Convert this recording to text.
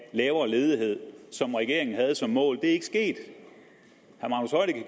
lavere ledighed som regeringen havde som mål er ikke sket